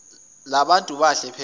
libantu bahle phesheya